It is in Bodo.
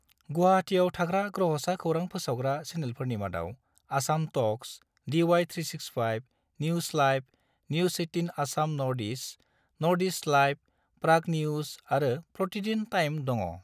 गुवाहाटीआव थानाय ग्रहसा खौरां फोसावग्रा चैनेलफोरनि मादाव Assam talks, DY 365, news live, news 18 Assam north east, north east live, Prag news आरो प्रतिदिन टाइम दङ।